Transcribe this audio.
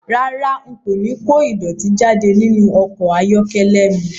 Rárá, n kò ní kó ìdọ̀tí jáde nínú ọkọ̀ ayọ́kẹ́lẹ́ mi